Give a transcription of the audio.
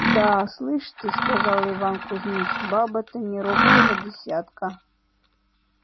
да слышь ты сказал иван кузьмич баба то не робкого десятка